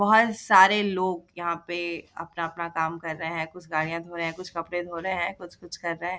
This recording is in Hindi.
बोहोत सारे लोग यहां पे अपना-अपना काम कर रहे है। कुछ गाड़िया धो रहे है। कुछ कपड़े धो रहे है। कुछ-कुछ कर रहे है।